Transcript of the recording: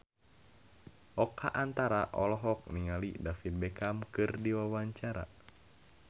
Oka Antara olohok ningali David Beckham keur diwawancara